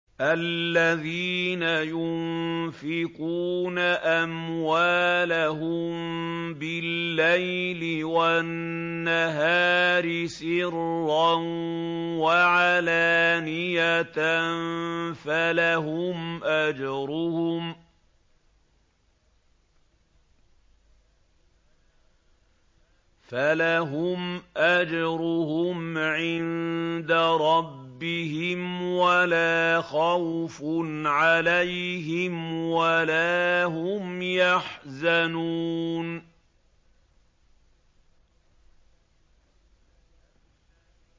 الَّذِينَ يُنفِقُونَ أَمْوَالَهُم بِاللَّيْلِ وَالنَّهَارِ سِرًّا وَعَلَانِيَةً فَلَهُمْ أَجْرُهُمْ عِندَ رَبِّهِمْ وَلَا خَوْفٌ عَلَيْهِمْ وَلَا هُمْ يَحْزَنُونَ